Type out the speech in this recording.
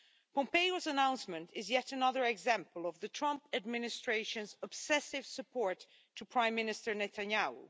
Pompeo's announcement is yet another example of the Trump administration's obsessive support for Prime Minister Netanyahu.